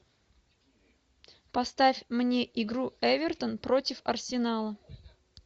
поставь мне игру эвертон против арсенала